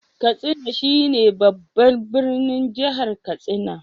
Katsina shi ne babban birnin Jihar Katsina.